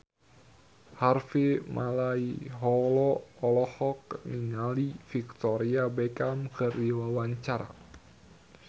Harvey Malaiholo olohok ningali Victoria Beckham keur diwawancara